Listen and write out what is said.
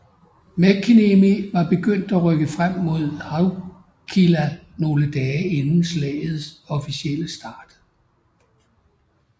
Mäkiniemi var begyndt at rykke frem mod Haukila nogle dage inden slaget officielle start